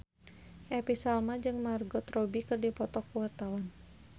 Happy Salma jeung Margot Robbie keur dipoto ku wartawan